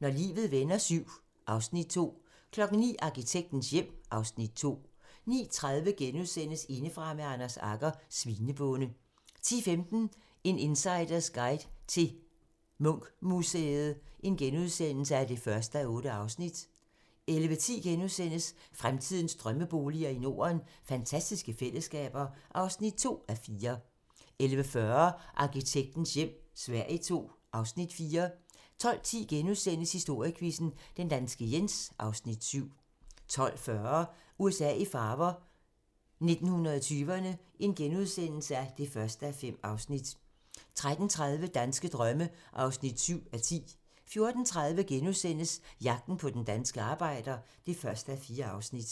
Når livet vender VII (Afs. 2) 09:00: Arkitektens hjem (Afs. 2) 09:30: Indefra med Anders Agger - Svinebonde * 10:15: En insiders guide til Munch-museet (1:8)* 11:10: Fremtidens drømmeboliger i Norden: Fantastiske fællesskaber (2:4)* 11:40: Arkitektens hjem - Sverige II (Afs. 4) 12:10: Historiequizzen: Den danske Jens (Afs. 7)* 12:40: USA i farver - 1920'erne (1:5)* 13:30: Danske drømme (7:10) 14:30: Jagten på den danske arbejder (1:4)*